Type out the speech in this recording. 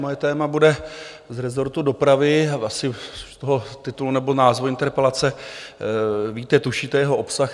Moje téma bude z rezortu dopravy, asi z toho titulu nebo názvu interpelace víte, tušíte jeho obsah.